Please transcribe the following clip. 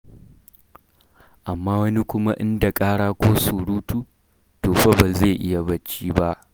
Amma wani kuma in da ƙara ko surutu, to fa ba zai iya barci ba.